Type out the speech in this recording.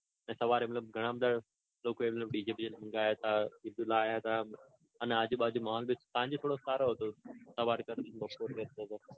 અને સવારે ઘણા બધા લોકો એમ dj બીજે મંગાવ્યા તા અને આજુબાજુ માહોલ બીસાંજ કરતા સારો હતો સવાર કરતા તો.